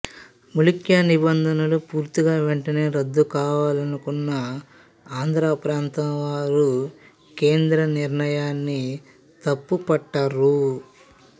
ముల్కీ నిబంధనలు పూర్తిగా వెంటనే రద్దు కావాలనుకున్న ఆంధ్ర ప్రాంతం వారు కేంద్ర నిర్ణయాన్ని తప్పుపట్టారు